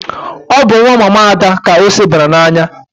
Ọ bụ nwa mama Ada ka ose bara n'anya.